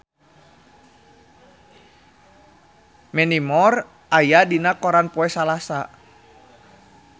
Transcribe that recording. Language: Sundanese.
Mandy Moore aya dina koran poe Salasa